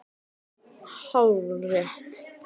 Hvað mundirðu gera ef þeir kæmu allt í einu núna?